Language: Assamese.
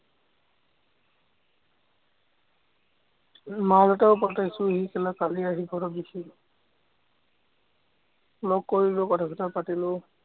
মাল এটাও পটাইছো, সি কালি আহি ঘৰত দিছেহি। লগ কৰিলো, কথা-চথা পাতিলোঁ।